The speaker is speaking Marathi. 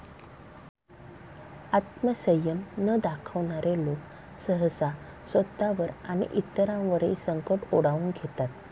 आत्मसंयम न दाखवणारे लोक सहसा स्वतःवर आणि इतरांवरही संकट ओढवून घेतात.